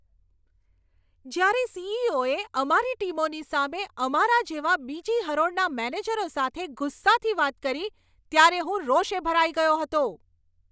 જ્યારે સી.ઈ.ઓ.એ અમારી ટીમોની સામે અમારા જેવા બીજી હરોળના મેનેજરો સાથે ગુસ્સાથી વાત કરી ત્યારે હું રોષે ભરાઈ ગયો હતો.